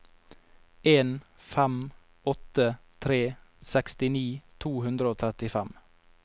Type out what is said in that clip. en fem åtte tre sekstini to hundre og trettifem